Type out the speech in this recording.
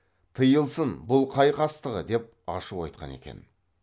тыйылсын бұл қай қастығы деп ашу айтқан екен